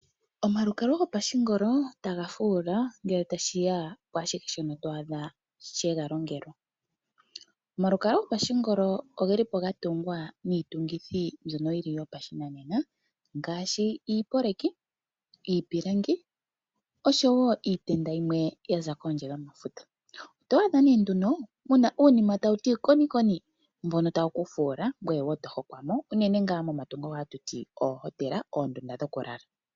Omalukalwa gopashinanena otaga fuula ngele tashi ya kwaashihe shoka to adha she ga longelwa. Omalukalwa gopashinanena oga tungwa niitungithi mbyoka yopashinanena ngaashi iipilangi oshowo iitenda yimwe ya za kondje yomafuta. Oto adha nduno mu na uunima tawu ti konikoni mbono tawu ku fuula ngoye to hokomwa unene tuu momahala ngono hatu ti oohotela, oondunda dhokulala.